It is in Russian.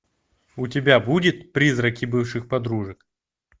у тебя будет призраки бывших подружек